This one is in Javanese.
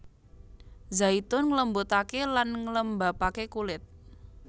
Zaitun nglembutaké lan nglembabaké kulit